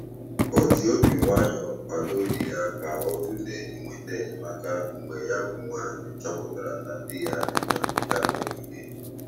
O ji obi nwayọ kwado di ya ka ọ tụlee ịnweta enyemaka mgbe ya bụ nwaanyị chọpụtara na di ya na-enwe mwute mgbe niile.